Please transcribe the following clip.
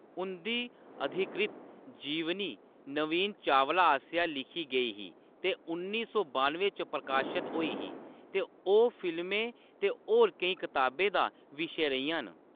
उंʼदी अधिकृत जीवनी नवीन चावला आसेआ लिखी गेई ही ते उन्नी सौ बानुएं च प्रकाशत होई ही, ते ओह् फिल्में ते होर केईं कताबें दा विशे रेहियां न।